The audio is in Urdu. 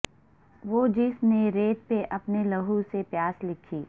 وہ جس نے ریت پہ اپنے لہو سے پیاس لکھی